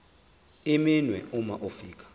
iminwe uma ufika